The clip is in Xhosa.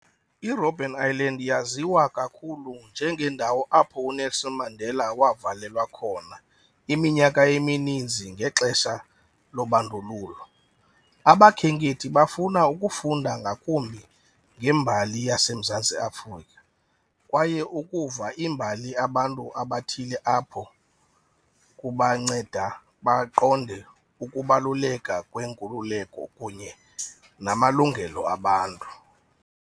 IRobben Island yaziwa kakhulu njengendawo apho uNelson Mandela wavalelwa khona iminyaka emininzi ngexesha lobandlululo. Abakhenkethi bafuna ukufunda ngakumbi ngembali yaseMzantsi Afrika kwaye ukuva imbali abantu abathile apho kubanceda baqonde ukubaluleka kwenkululeko kunye namalungelo abantu.